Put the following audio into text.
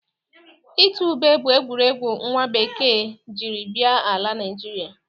Itu ube bụ egwuregwu nwa bekee jiri bịa ala Nịajịrịa.